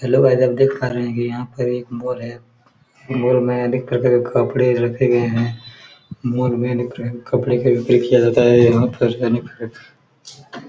Hello guys आप देख पा रहे हैं की यहाँ पर एक मोल है मोल में देख कर के कपड़े रखे गये हैं मोल में कपड़े के लिए किया जाता है यहाँ पर .]